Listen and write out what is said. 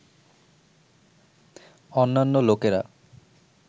অন্যান্য লোকেরা